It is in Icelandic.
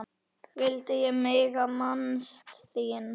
vildi ég mega minnast þín.